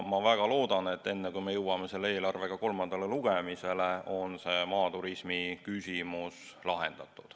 Ma väga loodan, et enne, kui me jõuame selle eelarvega kolmandale lugemisele, on see maaturismi küsimus lahendatud.